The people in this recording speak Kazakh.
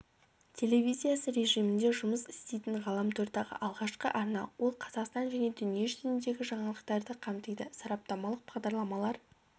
телевизиясы режимінде жұмыс істейтін ғаламтордағы алғашқы арна ол қазақстан және дүние жүзіндегі жаңалықтарды қамтиды сараптамалық бағдарламалар